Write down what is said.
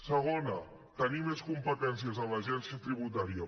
segona tenir més competències a l’agència tributària